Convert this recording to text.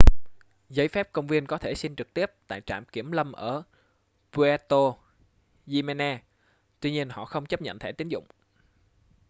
giấy phép công viên có thể xin trực tiếp tại trạm kiểm lâm ở puerto jiménez tuy nhiên họ không chấp nhận thẻ tín dụng